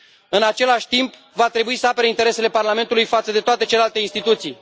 În același timp, va trebui să apere interesele Parlamentului față de toate celelalte instituții.